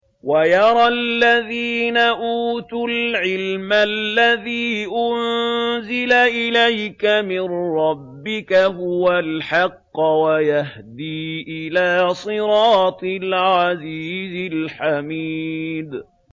وَيَرَى الَّذِينَ أُوتُوا الْعِلْمَ الَّذِي أُنزِلَ إِلَيْكَ مِن رَّبِّكَ هُوَ الْحَقَّ وَيَهْدِي إِلَىٰ صِرَاطِ الْعَزِيزِ الْحَمِيدِ